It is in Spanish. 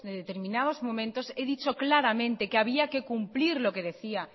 de determinados momentos he dicho claramente que había que cumplir lo que decía